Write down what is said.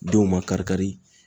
Denw ma kari kari